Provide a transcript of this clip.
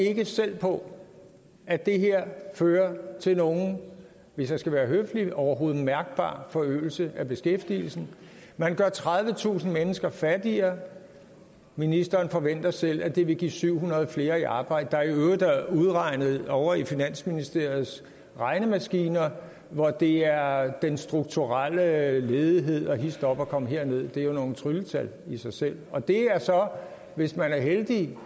ikke selv på at det her fører til nogen hvis jeg skal være høflig overhovedet mærkbar forøgelse af beskæftigelsen man gør tredivetusind mennesker fattigere ministeren forventer selv at det vil få syv hundrede flere i arbejde hvilket i øvrigt er udregnet ovre på finansministeriets regnemaskiner og det er er den strukturelle ledighed og hist op og kom herned det er jo nogle trylletal i sig selv og det er så hvis man er heldig